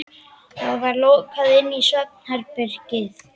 Það var lokað inn í svefnherbergið.